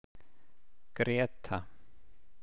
Gréta